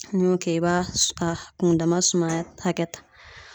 N'i y'o kɛ i b'a a kundama suma hakɛ ta